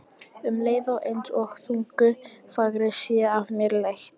Um leið er einsog þungu fargi sé af mér létt.